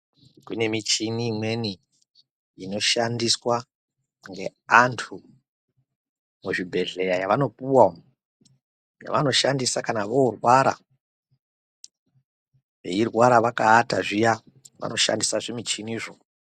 Kune michini imweni inoshandiswa ngeantu muzvibhehlera yavanopuva ,yavanoshandisa kana voorwara veirwara vakaata zviya vanoshandisa zvimuchinizvo.